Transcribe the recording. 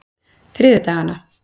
þriðjudaganna